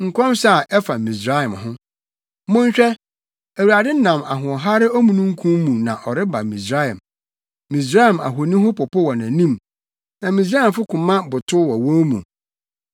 Nkɔmhyɛ a ɛfa Misraim ho: Monhwɛ! Awurade nam ahoɔhare omununkum mu na ɔreba Misraim. Misraim ahoni ho popo wɔ nʼanim, na Misraimfo koma botow wɔ wɔn mu.